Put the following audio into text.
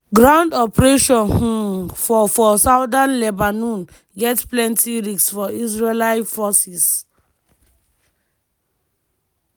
ground operation um for for southern lebanon get plenti risks for israeli forces.